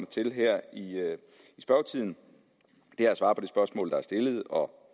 til her i spørgetiden er at svare på det spørgsmål der er stillet og